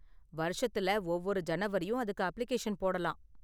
வருஷத்துல ஒவ்வொரு ஜனவரியும் அதுக்கு அப்ளிகேஷன் போடலாம்.